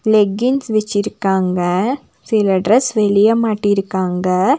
Leggings வச்சிருக்காங்க சில dress வெளிய மாட்டிருக்காங்க.